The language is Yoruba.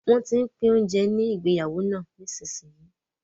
Wọ́n tín pín oúnjẹ ní ìgbéyàwó náà nísinsìnyí